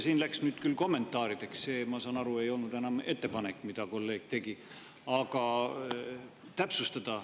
Siin läks nüüd küll kommentaarideks – see, ma saan aru, ei olnud enam ettepanek, mille kolleeg tegi –, aga tahtsin täpsustada.